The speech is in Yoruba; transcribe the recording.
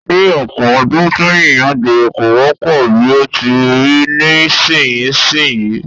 Ní ọ̀pọ̀ ọdún sẹ́yìn, agbere kò wọ́pọ̀ bí ó ti rí nísinsìnyí